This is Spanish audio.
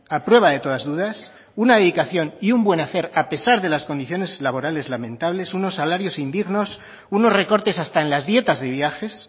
a prueba de todas dudas una dedicación y un buen hacer a pesar de las condiciones laborales lamentables unos salarios indignos unos recortes hasta en las dietas de viajes